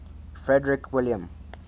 frederick william